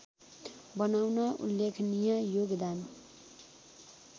बनाउन उल्लेखनीय योगदान